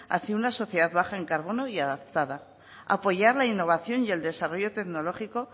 hacia una sociedad baja en carbono y adaptada apoyar la innovación y el desarrollo tecnológico